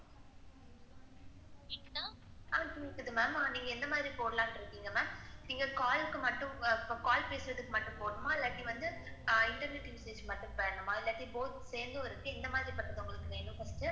அஹ் கேக்குது ma'am ஆஹ் நீங்க எந்த மாதிரி போடலாம்னு இருக்கீங்க? ma'am நீங்க call க்கு மட்டும் ஆஹ் call பேசுறதுக்கு மட்டும் போடனுமா? இல்லாட்டி வந்து ஆஹ் internet usage மட்டும் வேனுமா? இல்லாட்டி both சேர்ந்து ஒரு scheme இந்த மாதிரி ஒரு உங்களுக்கு வேணும் .